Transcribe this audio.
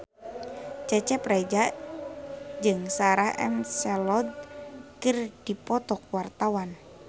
Cecep Reza jeung Sarah McLeod keur dipoto ku wartawan